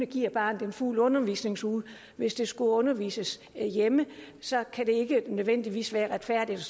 give barnet en fuld undervisningsuge hvis det skulle undervises hjemme så kan det ikke nødvendigvis være retfærdigt